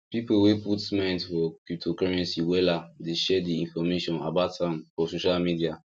people wey put mind for cryptocurrency wella dey share the information about am for social media